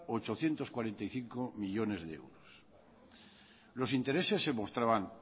ochocientos cuarenta y cinco millónes de euros los intereses se mostraban